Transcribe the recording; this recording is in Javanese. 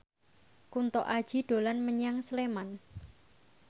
Kunto Aji dolan menyang Sleman